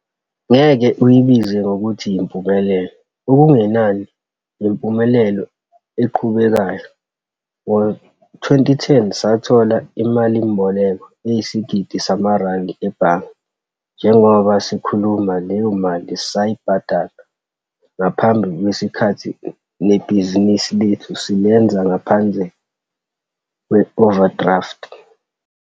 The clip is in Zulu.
Ngeke uyibize ngokuthi yimpumelelo, okungenani yimpumelelo eqhubekayo. Ngo-2010 sathola imalimboleko eyisigidi samarandi ebhange. Njengoba sikhuluma leyo mali sayibhadala ngaphambi kwesikhathi nebhizinisi lethu silenza ngaphandle kwe-overdraft.